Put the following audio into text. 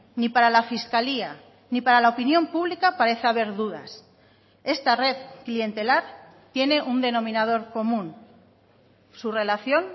ni para la fiscalía ni para la opinión pública parece haber dudas esta red clientelar tiene un denominador común su relación